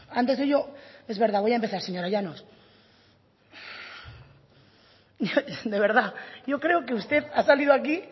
antes de ello es verdad voy a empezar señora llanos de verdad yo creo que usted ha salido aquí